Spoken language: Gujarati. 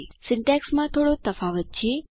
સિન્ટેક્ષમાં થોડો તફાવત છે